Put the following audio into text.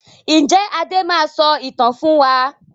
Ǹjẹ́ Adé máa sọ ìtàn fún wa?